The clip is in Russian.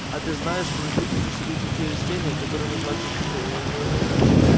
а ты знаешь что на свете существуют такие растения которые называются цветы